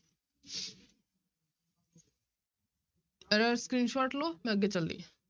ਇਹਦਾ screenshot ਲਓ, ਮੈਂ ਅੱਗੇ ਚੱਲਦੀ ਹਾਂ।